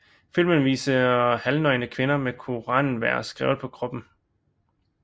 Filmen viser halvnøgne kvinder med koranvers skrevet på kroppen